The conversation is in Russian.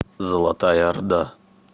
золотая орда